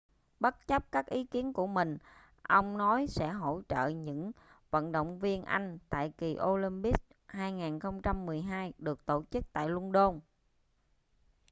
bất chấp các ý kiến của mình ông nói sẽ hỗ trợ những vận động viên anh tại kỳ olympics 2012 được tổ chức tại luân đôn